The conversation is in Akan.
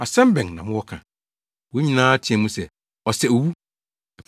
Asɛm bɛn na mowɔ ka?” Wɔn nyinaa teɛɛ mu se, “Ɔsɛ owu!”